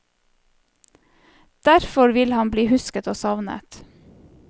Derfor vil han bli husket og savnet.